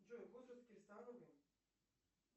джой